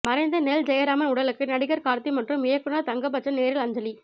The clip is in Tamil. மறைந்த நெல்ஜெயராமன் உடலுக்கு நடிகர் கார்த்தி மற்றும் இயக்குநர் தங்கர்பச்சன் நேரில் அஞ்சலி